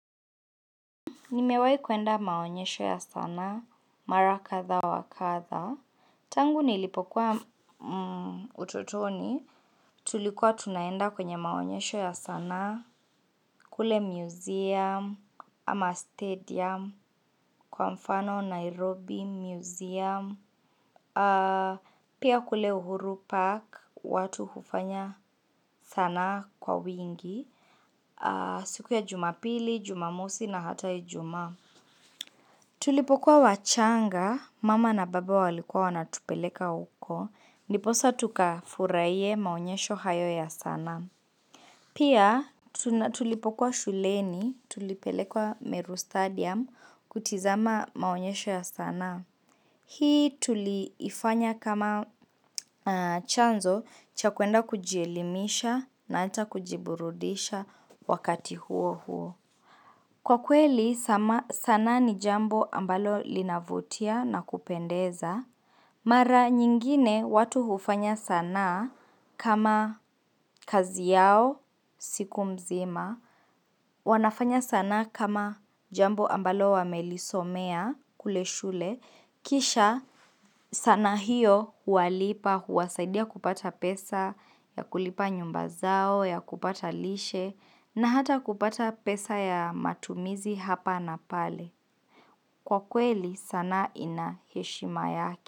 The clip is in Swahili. Nimewai kwenda maonyesho ya sanaa, mara kathaa wa kathaa. Tangu nilipokuwa ututoni, tulikuwa tunaenda kwenye maonyesho ya sanaa, kule museum, ama stadium, kwa mfano Nairobi museum, pia kule uhuru park, watu hufanya sanaa kwa wingi, siku ya jumapili, jumamusi na hata ijumaa. Tulipokuwa wachanga, mama na baba walikuwa wanatupeleka huko, ndiposa tukafuraye maonyesho hayo ya sanaa. Pia tulipokuwa shuleni, tulipelekwa meru stadium, kutizama maonyesho ya sanaa. Hii tuliifanya kama chanzo, cha kwenda kujielimisha, na hata kujiburudisha wakati huo huo. Kwa kweli sanaa ni jambo ambalo linavutia na kupendeza, mara nyingine watu hufanya sanaa kama kazi yao siku mzima, wanafanya sanaa kama jambo ambalo wamelisomea kule shule, kisha sanaa hiyo huwalipa, huwasaidia kupata pesa, ya kulipa nyumba zao, ya kupata lishe, na hata kupata pesa ya matumizi hapa na pale. Kwa kweli sanaa ina heshima yake.